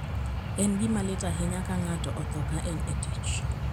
En gima lit ahinya ka ng'ato otho ka en e tich.